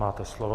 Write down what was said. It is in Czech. Máte slovo.